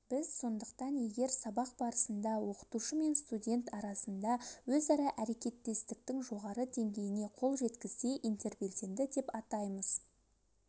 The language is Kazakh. біз сондықтан егер сабақ барысында оқытушы мен студент арасында өзара әрекеттестіктің жоғары деңгейіне қол жеткізсе интербелсенді деп атаймыз